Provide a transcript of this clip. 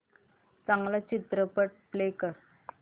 चांगला चित्रपट प्ले कर